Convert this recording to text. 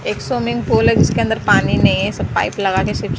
एक swimming pool है जिसके अंदर पानी नहीं है सब पाइप लगाके--